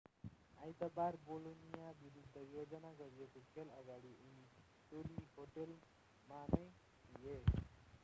आइतबार बोलोनिया विरुद्ध योजना गरिएको खेल अगाडि उनी टोली होटेलमा नै थिए